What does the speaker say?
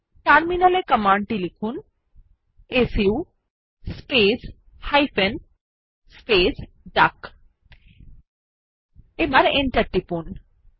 terminal এ command টি লিখুন সু স্পেস হাইফেন স্পেস ডাক এবং এন্টার টিপুন